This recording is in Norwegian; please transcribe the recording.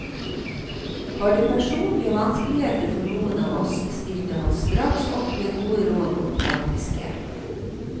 Var det personlige vanskeligheter for noen av oss, stilte han straks opp med gode råd og praktisk hjelp.